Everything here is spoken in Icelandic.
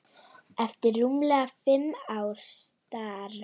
eftir rúmlega fimm ára starf.